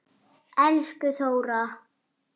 Elsku Þóra.